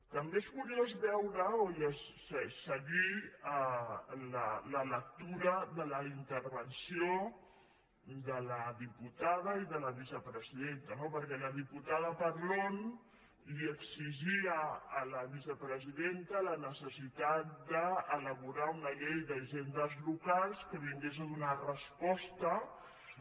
també és curiós veure o seguir la lectura de les in·tervencions de la diputada i de la vicepresidenta no perquè la diputada parlon li exigia a la vicepresidenta la necessitat d’elaborar una llei d’hisendes locals que vingués a donar resposta a